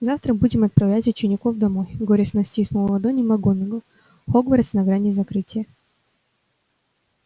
завтра будем отправлять учеников домой горестно стиснула ладони макгонагалл хогвартс на грани закрытия